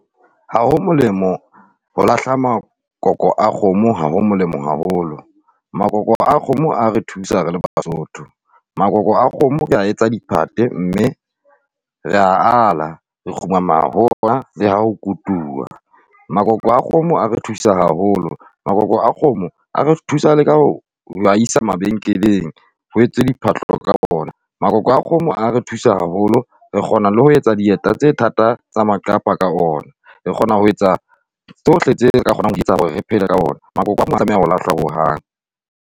Ha ho molemo ho lahla makoko a kgomo, ha ho molemo haholo. Makoko a kgomo a re thusa re le Basotho. Makoko a kgomo re a etsa diphathe mme ra ala re kgumama ho ona le ha ho kutuwa. Makoko a kgomo a re thusa haholo. Makoko a kgomo a re thusa ka ho a isa mabenkeleng ho etswe diphahlo ka ona. Makoko a kgomo a re thusa haholo re kgona le ho etsa dieta tsa thata tsa maqapa ka ona. Re kgona ho etsa tsohle tse ka kgonang ho etsa hore re phele ka ona. Makoko ha a tlameha ho lahlwa ho hang.